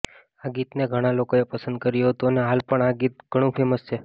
આ ગીતને ઘણા લોકોએ પસંદ કર્યું હતુ અને હાલ પણ આ ગીત ઘણું ફૅમસ છે